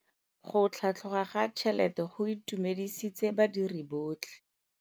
Go tlhatlhoga ga tšhelete go itumedisitse badiri botlhe.